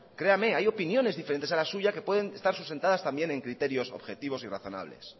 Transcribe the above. creame hay opiniones diferentes a la suya que pueden estar sustentadas también en criterios objetivos y razonables